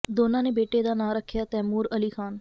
ਦੋਨਾਂ ਨੇ ਬੇਟੇ ਦਾ ਨਾਂ ਰੱਖਿਆ ਤੈਮੂਰ ਅਲੀ ਖਾਨ